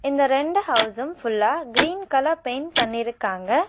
இந்த ரெண்டு ஹவுஸும் ஃபுல்லா கிரீன் கலர் பெயிண்ட் பண்ணிருக்காங்க.